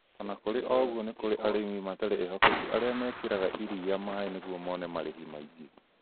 ona kũrĩ oũguo nĩ kũrĩ arĩmi matarĩ ehokeku arĩa mekĩraga irira maĩnĩguo mone marĩhi maingĩ